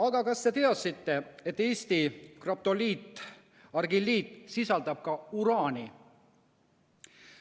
Aga kas te teadsite, et Eesti graptoliitargilliit sisaldab uraani?